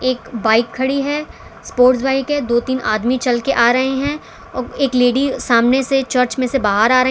एक बाइक खड़ी है स्पोर्ट्स बाइक के दो तीन आदमी चलकर आ रहे हैं एक लेडी सामने से चर्च में से बाहर आ रहीं --